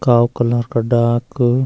Kalu colour का डाक।